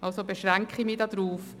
also beschränke ich mich darauf.